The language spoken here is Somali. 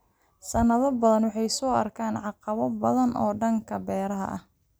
Sanado badan, wuxuu soo arkay caqabado badan oo dhanka beeraha ah.